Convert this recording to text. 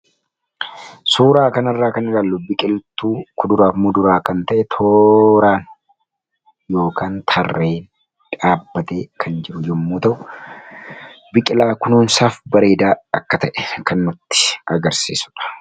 suuraa kan irraa kan iraallu biqiltuu kuduraafmuu duraa kan ta'e tooraan yk tarreen dhaabbatee kan jiru yommuu ta'u biqilaa kunoonsaaf bareedaa akka ta'e kannutti agarsiisudha